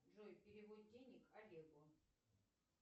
джой перевод денег олегу